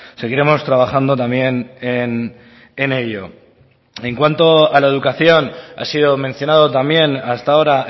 seguiremos trabajando también en ello en cuanto a la educación ha sido mencionado también hasta ahora